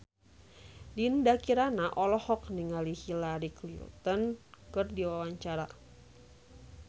Dinda Kirana olohok ningali Hillary Clinton keur diwawancara